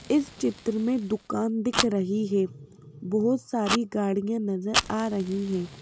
इस चित्र में दुकान दिख रही है बहुत सारी गाड़ियां नजर आ रही हैं।